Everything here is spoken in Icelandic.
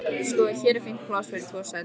Sko, hér er fínt pláss fyrir tvo sagði Tóti.